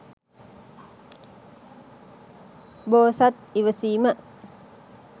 බෝසත් ඉවසීම